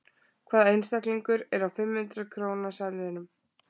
Hvaða einstaklingur er á fimm hundrað króna seðlinum?